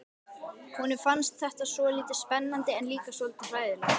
Honum fannst þetta svolítið spennandi en líka svolítið hræðilegt.